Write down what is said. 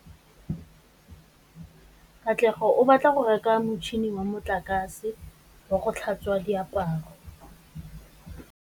Katlego o batla go reka motšhine wa motlakase wa go tlhatswa diaparo.